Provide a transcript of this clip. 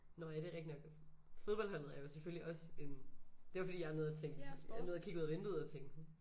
Nåh ja det rigtig nok fodboldholdet er jo selvfølgelig også en det var fordi jeg nåede at tænke jeg nåede at kigge ud af vinduet og tænke